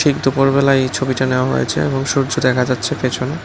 দুপুর বেলায় এই ছবিটা নেওয়া হয়েছে এবং সূর্য দেখা যাচ্ছে পেছনে।